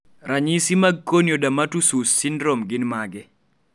ranyisis mag Corneodermatoosseous syndrome gin mage?